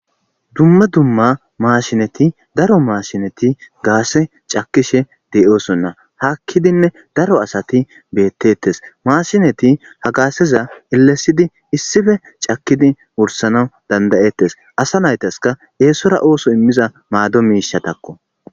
dumma dumma maashinati daro maashinati gaashe cakishe de'osonna hakkidinne daro asati beettettes maashinati ha gaasheza elesidi issife cakkidi wursana dandayettes asa naytaska eesora ooso immiza maado miishatakko